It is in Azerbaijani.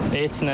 Heç nə.